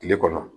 Kile kɔnɔ